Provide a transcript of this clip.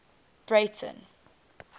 breyten